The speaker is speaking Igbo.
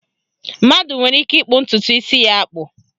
Mmadụ nwere ike ịkpụ ntụtụ isi ya akpụ